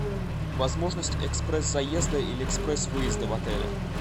возможность экспресс заезда или экспресс выезда в отеле